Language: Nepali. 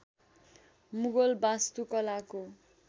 मुगल वास्तुकलाको